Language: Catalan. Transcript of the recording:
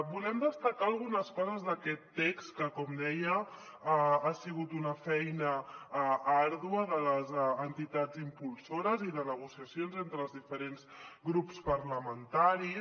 volem destacar algunes coses d’aquest text que com deia ha sigut una feina àrdua de les entitats impulsores i de negociacions entre els diferents grups parlamentaris